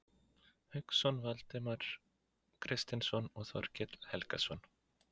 Hauksson, Valdimar Kristinsson og Þorkell Helgason.